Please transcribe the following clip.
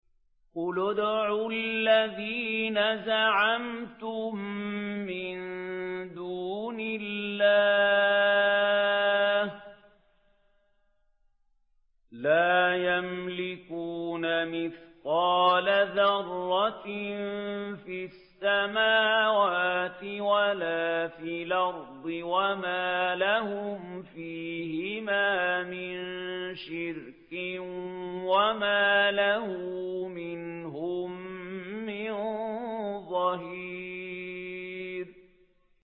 قُلِ ادْعُوا الَّذِينَ زَعَمْتُم مِّن دُونِ اللَّهِ ۖ لَا يَمْلِكُونَ مِثْقَالَ ذَرَّةٍ فِي السَّمَاوَاتِ وَلَا فِي الْأَرْضِ وَمَا لَهُمْ فِيهِمَا مِن شِرْكٍ وَمَا لَهُ مِنْهُم مِّن ظَهِيرٍ